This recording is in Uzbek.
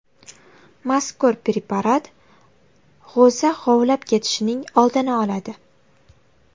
Mazkur preparat g‘o‘za g‘ovlab ketishining oldini oladi.